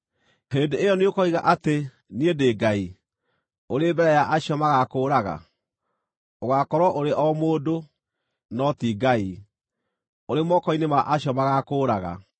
Hĩndĩ ĩyo nĩũkoiga atĩ, “Niĩ ndĩ ngai,” ũrĩ mbere ya acio magaakũũraga? Ũgaakorwo ũrĩ o mũndũ, no ti ngai, ũrĩ moko-inĩ ma acio magaakũũraga.